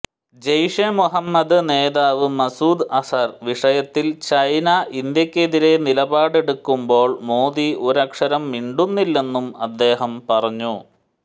ജയ്ഷെ മുഹമ്മദ് നേതാവ് മസൂദ് അസ്ഹർ വിഷയത്തിൽ ചൈന ഇന്ത്യക്കെതിരെ നിലപാടെടുക്കുമ്പോൾ മോദി ഒരക്ഷരം മിണ്ടുന്നില്ലെന്നും അദ്ദേഹം പറഞ്ഞു